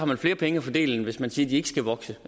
man flere penge at fordele end hvis man siger at de ikke skal vokse